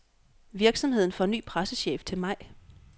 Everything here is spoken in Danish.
Virksomheden får ny pressechef til maj.